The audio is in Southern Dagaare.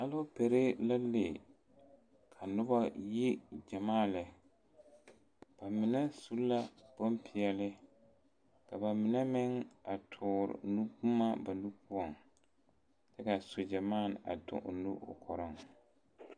Alɔɔpale la le ka noba yi gyamaa lɛ ba mine su la bonpɛɛle ka ba mine meŋ a tɔɔre nuboma ba nuuri poɔ ka sogyɛ dɔɔ a toŋ o nu o kɔɔreŋ